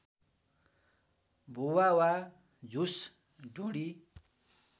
भुवा वा झुस ढुँडी